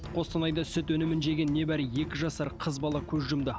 қостанайдағы сүт өнімін жеген небәрі екі жасар қыз бала қөз жұмды